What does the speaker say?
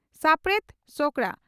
ᱥᱟᱯᱲᱮᱛ ᱥᱚᱠᱲᱟ